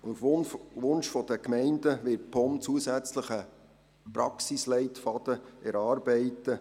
Auf Wunsch der Gemeinden wird die POM zusätzlich einen Praxisleitfaden erarbeiten.